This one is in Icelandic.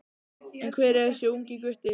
En hver er þessi ungi gutti?